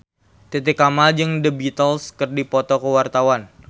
Titi Kamal jeung The Beatles keur dipoto ku wartawan